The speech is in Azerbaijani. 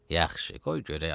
Yaxşı, qoy görək, ay kişi.